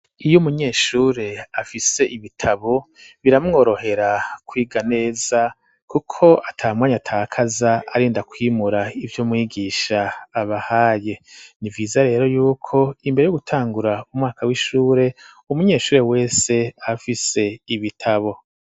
Iy’umunyeshure afise ibitabo biramworohera kwiga neza kuko atamwanya atakaza arinda kwimura ivyo mwigisha abahaye ,ni vyiza rero yuko imbere yuko gutangura umwaka w'ishure umunyeshuri wese afise ibitabo.